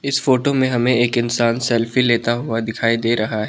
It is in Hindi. इस फोटो में हमें एक इंसान सेल्फी लेता हुआ दिखाई दे रहा है।